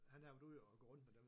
Han har været ude og gå rundt med dem